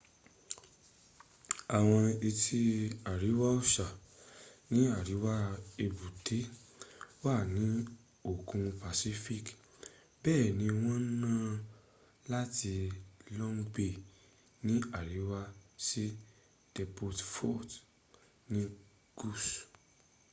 awọn etí àríwá ọ̀sà ní àríwá èbútéwà ni òkun pacific bẹ́ẹ̀ ni wọ́n nà á láti long bay ní àríwá sí devonport ni gús